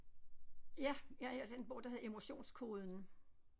Ja jeg har læst den bog der hedder emotionskoden